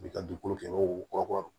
U bi ka dugukolo kɛ ko kɔrɔbɔrɔw